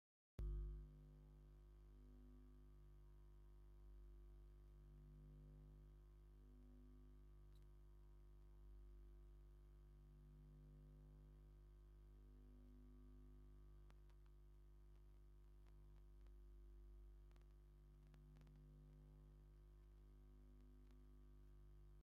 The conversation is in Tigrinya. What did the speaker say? ኣብቲ ክፉት መሬት ቀጠልያ ሳዕሪ ዘለዎ ግራት ኣብ ገለ ቦታታት ድማ ደረቅ መሬት ኣሎ። ኣብ ርሑቕ ድማ ዓበይቲ ኣኽራንን በሪኽ መሬትን ይረአ። ኣብ ላዕሊ ንጹር ሰማይንጸሓይን ብድሙቕ ይበርህ ኣሎ። እዚ ዝረአ ዘሎ መሬት መብዛሕትኡ ሓምላይ ድዩ ወይስ ደረቕ?